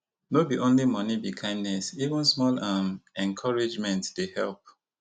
no be only money be kindness even small um encouragement dey help